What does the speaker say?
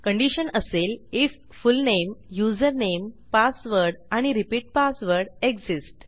condition असेल if full name username password आणि repeat password exist